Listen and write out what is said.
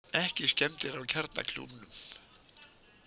Ekki skemmdir á kjarnakljúfnum